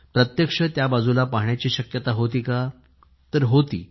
प्रत्यक्ष त्या बाजूला पाहण्याची शक्यता होती का तर होती